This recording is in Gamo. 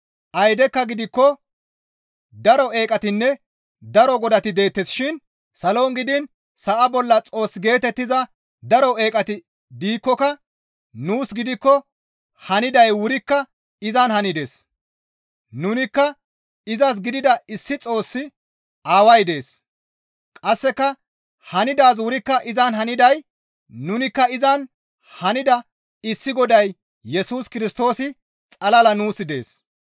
Aydekka gidikko daro eeqatinne daro godati deettes shin salon gidiin sa7a bolla Xoos geetettiza daro eeqati diikkoka nuus gidikko haniday wurikka izan hanides. Nunikka izas gidida issi Xoossi Aaway dees; qasseka hanidaazi wurikka izan haniday nunikka izan hanida issi Goday Yesus Kirstoosi xalala nuus dees.